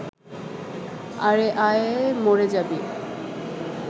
আরে আয়, মরে যাবি